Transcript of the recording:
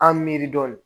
An mi miiri dɔɔnin